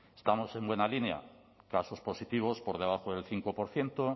estamos en buena línea casos positivos por debajo del cinco por ciento